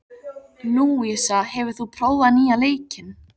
Lúísa, hefur þú prófað nýja leikinn?